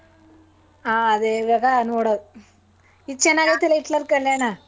ಹಾ ಈವಾಗ ನೋಡೋದು ಇದ್ ಚನಾಗಿರುತ್ತಲ್ಲ ಹಿಟ್ಲರ್ ಕಲ್ಯಾಣ.